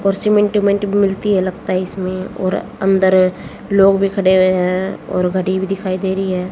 और सीमेंट उमेंट मिलती है लगता है इसमें और अंदर लोग भी खड़े हुए हैं और घड़ी भी दिखाई दे रही है।